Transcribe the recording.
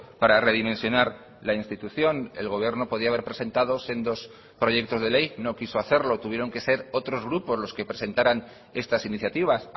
para redimensionar la institución el gobierno podía haber presentado sendos proyectos de ley no quiso hacerlo tuvieron que ser otros grupos los que presentaran estas iniciativas